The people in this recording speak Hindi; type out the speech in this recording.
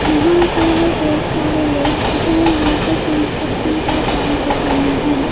यहां पे है बहोत सारे लोग जो यहां पे कंस्ट्रक्शन का काम कर रहे हैं।